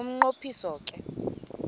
umnqo phiso ke